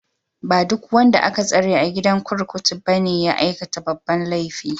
Ba duk wanda aka tsare a gidan kurkuku ne ya aikata babban laifi ba.